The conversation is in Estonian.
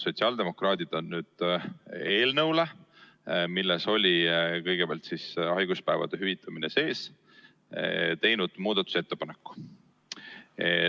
Sotsiaaldemokraadid on eelnõu kohta, milles oli kõigepealt haiguspäevade hüvitamine sees, teinud muudatusettepaneku.